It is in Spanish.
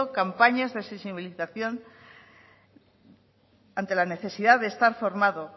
campañas de sensibilización ante la necesidad de estar formado